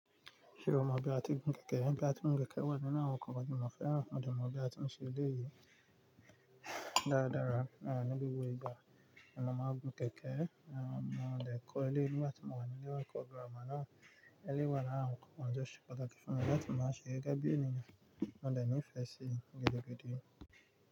Ṣé o mọ bí a ti ń gbin kẹ̀kẹ́? Bí a ti ń gbin kẹ̀kẹ́ wà nínú àwọn nǹkan tí mọfẹ́ran dẹ̀ mọ bí a ti ń ṣe ilé yìí dáradára. À ní gbogbo ìgbà, mo máa gùn kẹ̀kẹ́. À mo lè kọ́ ilé nígbà tí mo wà nílé ẹkọ Gírámà náà. Ilé wà lára àwọn nǹkan tí o ṣe pàtàkì fún mi láti mọ ṣe gẹ́gẹ́ bí ènìyàn. Mo dẹ̀ ní ìfẹ́ sí gidi gidi.